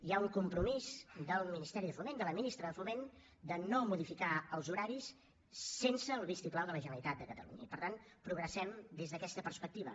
hi ha un compromís del ministeri de foment de la ministra de foment de no modificar els horaris sense el vistiplau de la generalitat de catalunya i per tant progressem des d’aquesta perspectiva